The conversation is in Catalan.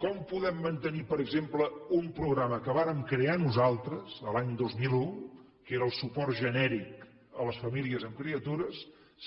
com podem mantenir per exemple un programa que vàrem crear nosaltres l’any dos mil un que era el suport genèric a les famílies amb criatures